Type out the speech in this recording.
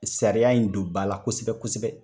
Sariya in don ba la kosɛbɛ kosɛbɛ.